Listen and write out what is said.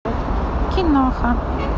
киноха